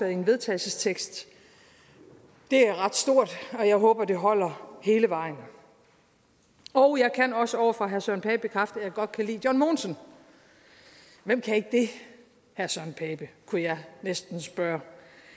i en vedtagelsestekst det er ret stort og jeg håber at det holder hele vejen jeg kan også over for herre søren pape bekræfte at jeg godt kan lide john mogensen hvem kan ikke det herre søren pape kunne jeg næsten spørge